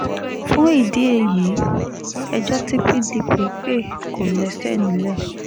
fún ìdí èyí ẹjọ́ tí pdp pé kò lẹ́sẹ̀ nílẹ̀